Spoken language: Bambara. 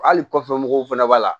Hali kɔfɛ mɔgɔw fana b'a la